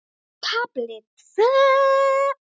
KAFLI TVÖ